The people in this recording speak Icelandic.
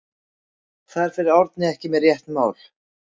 Þar fer Árni ekki með rétt mál.